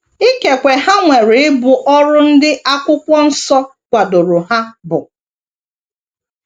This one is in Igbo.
Ikekwe ha nwere ibu ọrụ ndị Akwụkwọ Nsọ kwadoro ha bu.